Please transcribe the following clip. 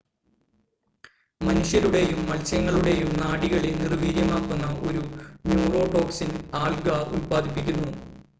മനുഷ്യരുടെയും മത്സ്യങ്ങളുടെയും നാഡികളെ നിർവ്വീര്യമാക്കുന്ന ഒരു ന്യൂറോടോക്സിൻ ആൽഗ ഉൽപാദിപ്പിക്കുന്നു